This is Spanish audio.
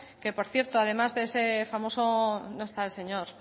que por cierto además de ese famoso no está el señor